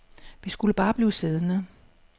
Vi skulle bare blive siddende.